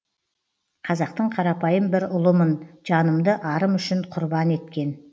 қазақтың қарапайым бір ұлымын жанымды арым үшін құрбан еткен